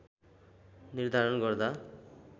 निर्धारण गर्दा